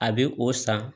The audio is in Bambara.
A bɛ o san